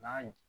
N'a ye